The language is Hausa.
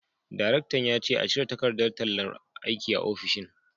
Daraktan ya ce a cire takardar tallar aiki a ofishin